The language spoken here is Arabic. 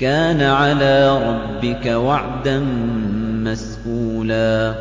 كَانَ عَلَىٰ رَبِّكَ وَعْدًا مَّسْئُولًا